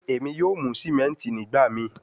Emi yoo mu simenti nigbamii